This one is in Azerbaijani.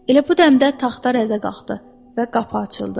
Elə bu dəmdə taxta rəzə qalxdı və qapı açıldı.